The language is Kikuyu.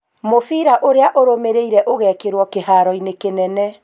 Mũbira ũrĩa ũrũmĩrĩre ũgekĩrwo kiharo-inĩ kĩnene.